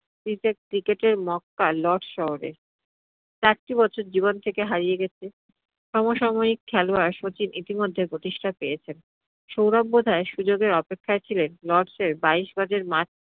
cricket, cricket এর Mecca lords শহরে। চারটি বছর জীবন থেকে হারিয়ে গেছে, সমসাময়িক খেলোয়াড় শচীন ইতিমধ্যে প্রতিষ্ঠা পেয়েছেন। সৌরভ বোধ হয় সুযোগের অপেক্ষাই ছিলেন lords এর বাইশ গজের মাঠ